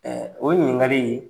O ɲininkali